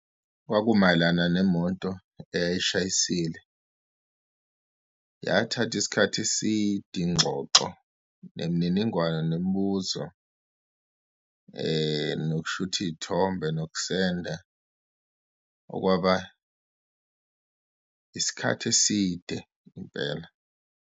Kwakumayelana nemoto eyayishayisile, yathatha isikhathi eside ingxoxo, nemininingwane, nemibuzo nokushutha iyithombe, nokusenda okwaba isikhathi eside impela.